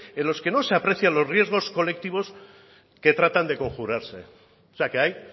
en los que no se aprecian los riesgos colectivos que tratan de conjurarse o sea que hay